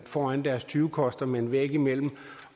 foran deres tyvekoster med en væg imellem